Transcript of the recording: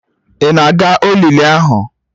Ị na-aga olili ahụ?